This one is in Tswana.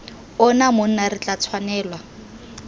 ona monna re tla tshwanelwa